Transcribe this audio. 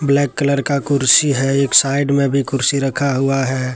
Black colour का कुर्सी है एक साइड में भी कुर्सी रखा हुआ है।